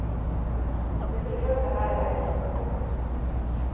Resultatet her er jo også den samme.